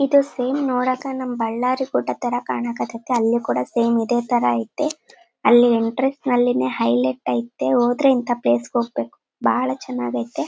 ಏಟಾಸ್ line ನೋಡಾಕ ನಮ್ಮ ಬಳ್ಳಾರಿ ಫೋಟೋದ್ ತಾರಾ ಕಣಕ್ ಹತೈತಿ ಅಲ್ಲೆ ಕೂಡ ಸೇಮ್ ಇದೆ ತಾರಾ ಇದೆ ಅಲ್ಲಿ ಎಂಟ್ರನ್ಸ್ ಅಲ್ಲೇ ನೇ ಹೈಲೈಟ್ ಐತೆ ಹೋದ್ರೆ ಇಂತ ಪ್ಲೇಸ್ ಗೆ ಹೋಗ್ಬೇಕು ಬಹಳ ಚೆನ್ನಾಗೈತೆ.